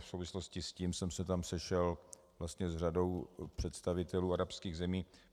V souvislosti s tím jsem se tam sešel vlastně s řadou představitelů arabských zemí.